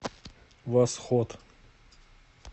восход